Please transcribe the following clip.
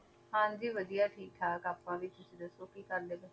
ਹਾਂਜੀ ਵਧੀਆ ਠੀਕ ਠਾਕ ਆਪਾਂ ਵੀ, ਤੁਸੀਂ ਦੱਸੋ ਕੀ ਕਰਦੇ ਪਏ?